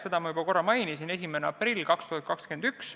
Seda ma juba korra mainisin – 1. aprill 2021.